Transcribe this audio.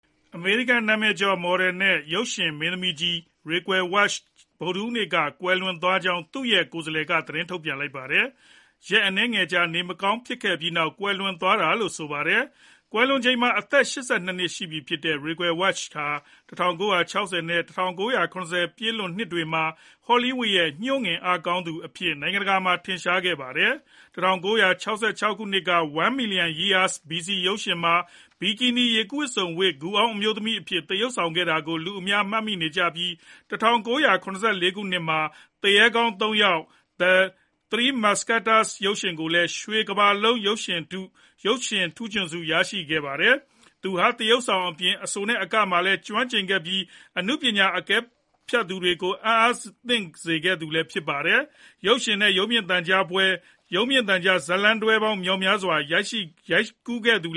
အမေရိကန်နာမည်ကျော် မော်ဒယ်နဲ့ရုပ်ရှင်မင်းသမီးကြီး Raquel Welch ဗုဒ္ဓဟူးနေ့က ကွယ်လွန်သွားကြောင်း သူ့ရဲ့ကိုယ်စားလှယ်က သတင်းထုတ်ပြန်လိုက်ပါတယ်။ ရက်အနည်းငယ်ကြာ နေမကောင်းဖြစ်ပြီးနောက် ကွယ်လွန်သွားတာလို့ ဆိုပါတယ်။ ကွယ်လွန်ချိန်မှာ အသက် ၈၂ နှစ် ရှိပြီဖြစ်တဲ့ Raquel Welch ဟာ ၁၉၆၀ နဲ့ ၁၉၇၀ ပြည့်လွန်နှစ်တွေမှာ ဟောလီးဝုဒ်ရဲ့ ညှို့ငင်အားကောင်းသူအဖြစ် နိုင်ငံတကာမှာ ထင်ရှားကျော်ကြားခဲ့သူပါ။ ၁၉၆၆ ခုနှစ်က One Million Years BC. ရုပ်ရှင်မှာ ဘီကီနီ ရေကူးဝတ်စုံဝတ်ပြီး ဂူအောင်း အမျိုးသမီးအဖြစ် သရုပ်ဆောင်ခဲ့တာကို လူအများကမှတ်မိနေကြပြီး ၁၉၇၄ ခုနှစ်မှာ သူရဲကောင်း ၃ ယောက် (The Three Musketeers) ရုပ်ရှင်ကားနဲ့လည်း ရွှေကမ္ဘာလုံး ရုပ်ရှင်ထူးချွန်ဆုရရှိခဲ့ပါတယ်။ သူဟာ သရုပ်ဆောင်အပြင် အဆိုနဲ့အကပိုင်းမှာလည်း ကျွမ်းကျင်ခဲ့ပြီး အနုပညာအကဲဖြတ်တွေကို အံ့အားသင့်စေခဲ့သူလည်း ဖြစ်ပါတယ်။ ရုပ်ရှင်နဲ့ ရုပ်မြင်သံကြားဇာတ်လမ်းတွဲများစွာ ရိုက်ကူးခဲ့ပြီး သူ့